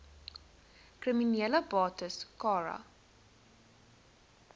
kriminele bates cara